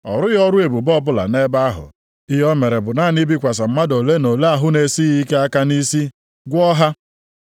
Ọ rụghị ọrụ ebube ọbụla nʼebe ahụ. Ihe o mere bụ naanị ibikwasị mmadụ ole na ole ahụ na-esighị ike aka nʼisi gwọọ ha.